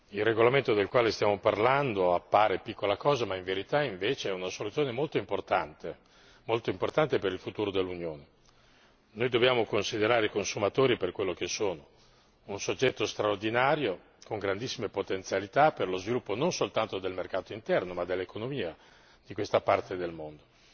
Il regolamento del quale stiamo parlando appare piccola cosa ma in verità è una soluzione molto importante per il futuro dell'Unione. Noi dobbiamo considerare i consumatori per quello che sono un soggetto straordinario con grandissime potenzialità per lo sviluppo non soltanto del mercato interno ma dell'economia di questa parte del mondo.